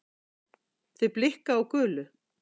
Þau blikka á gulu